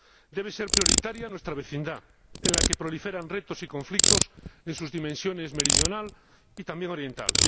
Debe ser prioritaria nuestra vecindad, en la que proliferan retos y conflictos en sus dimensiones meridional y también oriental.